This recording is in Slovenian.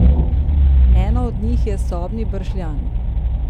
Ena od njih je sobni bršljan.